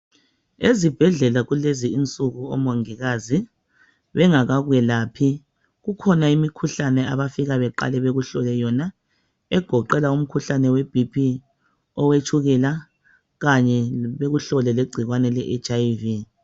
Ezibhedlela kulezi insuku omongikazi bengakakwelaphi kukhona imikhuhlane abaqale bakuhlole yona egoqela umkhuhlane we "BP", owetshukela kanye bekuhlole legcikwane le HIV.